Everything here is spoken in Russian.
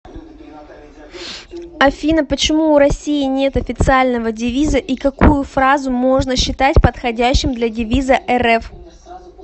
афина почему у россии нет официального девиза и какую фразу можно считать подходящим для девиза рф